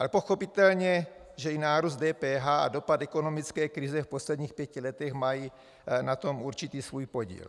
Ale pochopitelně, že i nárůst DPH a dopad ekonomické krize v posledních pět letech mají na tom určitý svůj podíl.